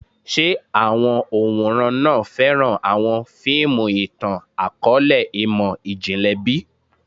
Ṣe awọn òǹwòran náà fẹran awọn fiimu itan-akọọlẹ imọ-jinlẹ bi?